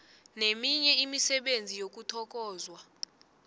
neminye imisebenzi yokuthokozwa